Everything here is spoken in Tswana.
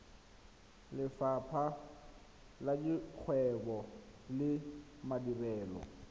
lefapha la dikgwebo le madirelo